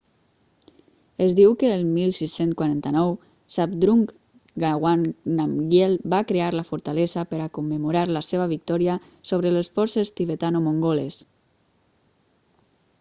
es diu que el 1649 zhabdrung ngawang namgyel va crear la fortalesa per a commemorar la seva victòria sobre les forces tibetano-mongoles